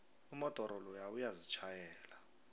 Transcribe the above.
umodoro loya uyazitjhayela